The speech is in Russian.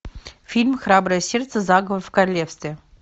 фильм храброе сердце заговор в королевстве